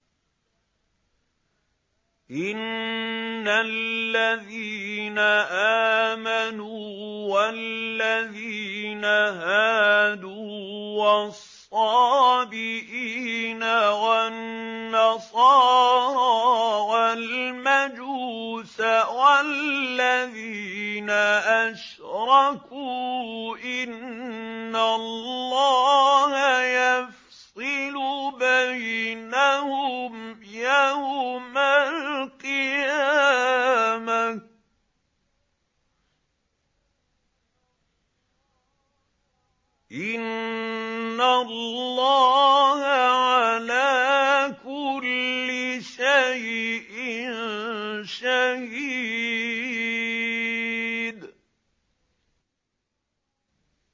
إِنَّ الَّذِينَ آمَنُوا وَالَّذِينَ هَادُوا وَالصَّابِئِينَ وَالنَّصَارَىٰ وَالْمَجُوسَ وَالَّذِينَ أَشْرَكُوا إِنَّ اللَّهَ يَفْصِلُ بَيْنَهُمْ يَوْمَ الْقِيَامَةِ ۚ إِنَّ اللَّهَ عَلَىٰ كُلِّ شَيْءٍ شَهِيدٌ